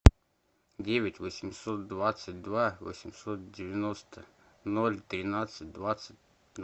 девять восемьсот двадцать два восемьсот девяносто ноль тринадцать двадцать